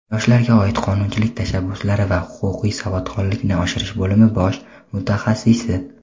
Yoshlarga oid qonunchilik tashabbuslari va huquqiy savodxonlikni oshirish bo‘limi bosh mutaxassisi;.